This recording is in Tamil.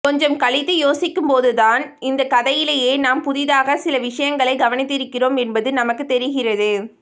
கொஞ்சம் கழித்து யோசிக்கும்போதுதான் இந்தக்கதையிலே நாம் புதியதாகச் சிலவிஷயங்களைக் கவனித்திருக்கிறோம் என்பது நமக்குத் தெரிகிறது